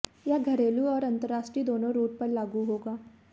यह घरेलू और अंतरराष्ट्रीय दोनों रूट पर लागू होगा